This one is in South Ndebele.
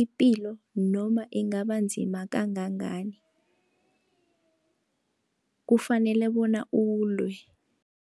ipilo noma ingabanzima kangangani kufanele bona ulwe.